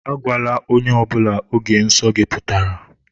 Agwala ónyé ọbula ógè nsọ gị pụtara!